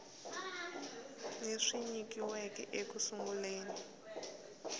leswi nyikiweke eku sunguleni ka